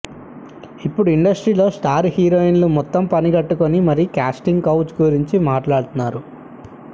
ఇప్పుడు ఇండస్ట్రీలో స్టార్ హీరోయిన్లు మొత్తం పని గట్టుకుని మరీ క్యాస్టింగ్ కౌచ్ గురించి మాట్లాడుతున్నారు